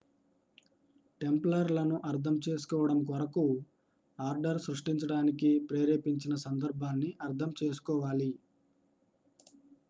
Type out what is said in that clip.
tumbler లను అర్థం చేసుకోవడం కొరకు ఆర్డర్ సృష్టించడానికి ప్రేరేపించిన సందర్భాన్ని అర్థం చేసుకోవాలి